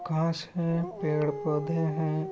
घास है पेड़ पौधे है।